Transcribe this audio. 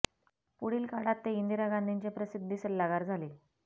पुढील काळात ते इंदिरा गांधींचे प्रसिद्धी सल्लागार झाले